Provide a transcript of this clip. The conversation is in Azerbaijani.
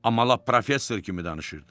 Amma lap professor kimi danışırdı.